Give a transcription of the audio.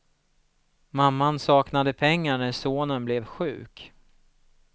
Mamman saknade pengar när sonen blev sjuk.